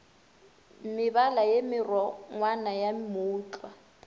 mebala ye merongwana ya mootlwa